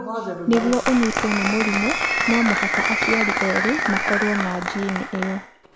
Nĩguo ũnyitwo nĩ mũrimũ no mũhaka aciari erĩ makorwo na njini ĩyo.